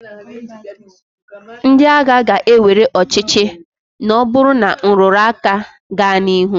Ndị agha ga- ewere ọchịchị na ọ bụrụ na nrụrụ aka gaa n'ihu.